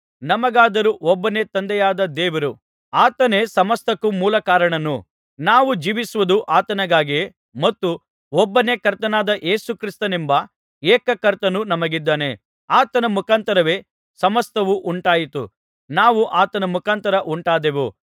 ನಮಗಾದರೋ ಒಬ್ಬನೇ ತಂದೆಯಾದ ದೇವರು ಆತನೇ ಸಮಸ್ತಕ್ಕೂ ಮೂಲಕಾರಣನು ನಾವು ಜೀವಿಸುವುದು ಆತನಿಗಾಗಿಯೇ ಮತ್ತು ಒಬ್ಬನೇ ಕರ್ತನಾದ ಯೇಸು ಕ್ರಿಸ್ತನೆಂಬ ಏಕ ಕರ್ತನು ನಮಗಿದ್ದಾನೆ ಆತನ ಮುಖಾಂತರವೇ ಸಮಸ್ತವೂ ಉಂಟಾಯಿತು ನಾವೂ ಆತನ ಮುಖಾಂತರ ಉಂಟಾದೆವು